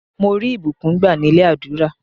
Mo rí ìbùkún gbá nílé àdúrà.